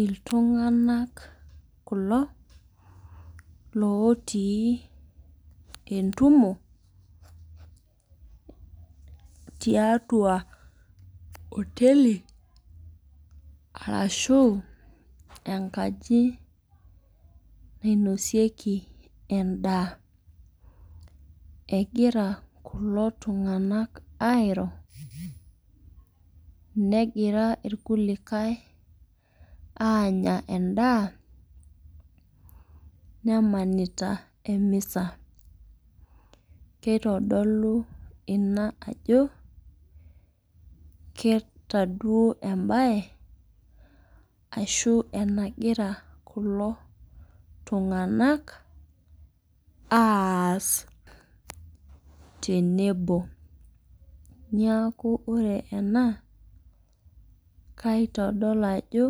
Iltunganak kulo otii entumo tiatua oteli arashu enkaji nainosieki endaa. Egira kulo tunganak airo, negira irkulikae aanya endaa nemanita emisa. Kitodolu ina ajo, keeta duo embae ashu enagira kulo tunganak aas tenebo. Neeku ore ena ,kaitodol ajo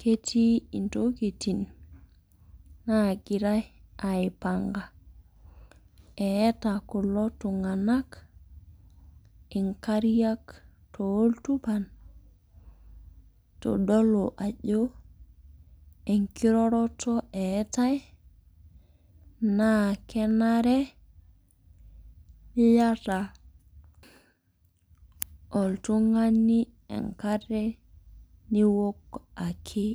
ketii ntokiting naagirae aipanga. Eeta kulo tunganak nkariak tooltupan itodolu ajo ekiroroto eetae naa kenare niyata oltungani enkare niwok ake.